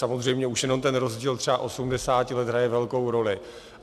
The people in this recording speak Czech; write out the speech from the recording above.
Samozřejmě už jenom ten rozdíl třeba 80 let hraje velkou roli.